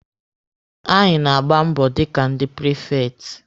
Anyị na-agba mbọ dịka ndị prifekti.